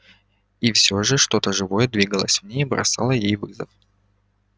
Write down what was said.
и все же что то живое двигалось в ней и бросало ей вызов